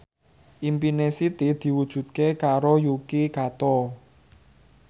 impine Siti diwujudke karo Yuki Kato